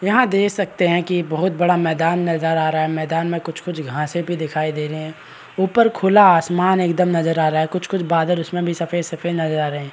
यहाँ देख सकते हैं की बहुत बड़ा मैदान नजरा आ रहा है मैदान में कुछ-कुछ घासें भी दिखाई दे रहें हैं। ऊपर खुला आसमान एकदम नजर आ रहा है कुछ-कुछ बादल उसमे भी सफ़ेद-सफ़ेद नजर आ रहें हैं।